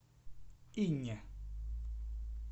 инне